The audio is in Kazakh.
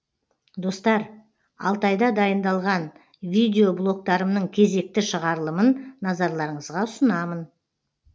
достар алтайда дайындалған видеблогтарымның кезекті шығарылымын назарларыңызға ұсынамын